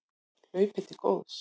Hlaupið til góðs